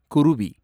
குருவி